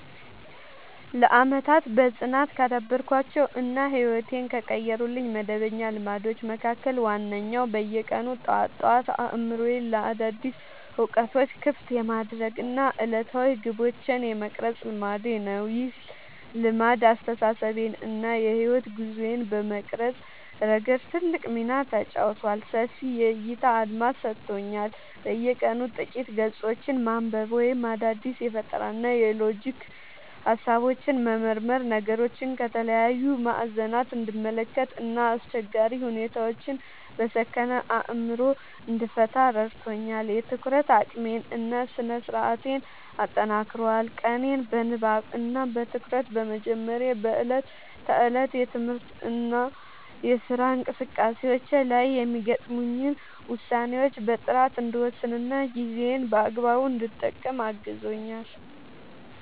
ለዓመታት በጽናት ካዳበርኳቸው እና ሕይወቴን ከቀየሩልኝ መደበኛ ልማዶች መካከል ዋነኛው በየቀኑ ጠዋት ጠዋት አእምሮዬን ለአዳዲስ እውቀቶች ክፍት የማድረግ እና ዕለታዊ ግቦቼን የመቅረጽ ልማዴ ነው። ይህ ልማድ አስተሳሰቤን እና የሕይወት ጉዞዬን በመቅረጽ ረገድ ትልቅ ሚና ተጫውቷል፦ ሰፊ የዕይታ አድማስ ሰጥቶኛል፦ በየቀኑ ጥቂት ገጾችን ማንበብ ወይም አዳዲስ የፈጠራና የሎጂክ ሃሳቦችን መመርመር ነገሮችን ከተለያዩ ማዕዘናት እንድመለከት እና አስቸጋሪ ሁኔታዎችን በሰከነ አእምሮ እንድፈታ ረድቶኛል። የትኩረት አቅሜን እና ስነ-ስርዓቴን አጠናክሯል፦ ቀኔን በንባብ እና በትኩረት በመጀመሬ በዕለት ተዕለት የትምህርትና የሥራ እንቅስቃሴዎቼ ላይ የሚገጥሙኝን ውሳኔዎች በጥራት እንድወስንና ጊዜዬን በአግባቡ እንድጠቀም አግዞኛል።